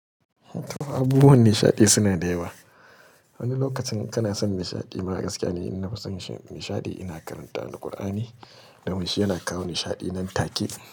Abubuwan nishaɗi suna da yawa. Wani lokacin kana son nishaɗi mara gaskiya ne. Ni na fi son nishaɗi ina karanta Alkur'ani, don wancan yana kawo nishaɗi nan take.